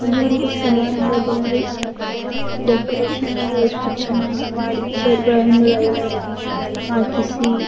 ಈ ಒಂದು ಸಮಾರಂಭದಲ್ಲಿ ಡೆಕೋರೇಷನ್ ಅನ್ನು ಎಷ್ಟು ಚೆನ್ನಾಗಿ ಮಾಡಿ ಚೆರಗಳನ್ನೂ ಲೈನ ಆಗಿ ಹಾಕಿಸಿ--